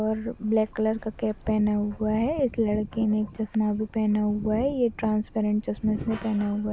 उपर black colour का cap पहना हुआ है इस लडकेने एक चश्मा भी पहना हुआ है ये ट्रांसपरान्त चश्मा इसने पहना हुआ--